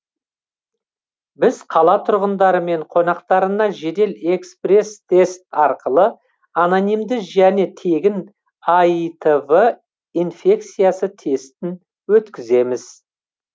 біз қала тұрғындары мен қонақтарына жедел экспресс тест арқылы анонимді және тегін аитв инфекциясы тестін өткіземіз